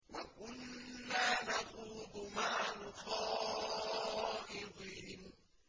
وَكُنَّا نَخُوضُ مَعَ الْخَائِضِينَ